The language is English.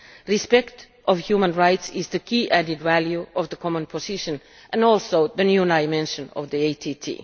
Respect for human rights is the key added value of the common position and also the new dimension of the ATT.